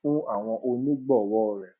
fún àwọn onígbòwó rè